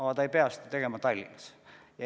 Nad ei pea seda ju tegema Tallinnas.